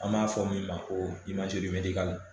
An b'a fɔ min ma ko